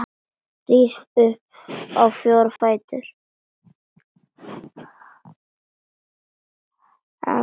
Rís upp á fjóra fætur.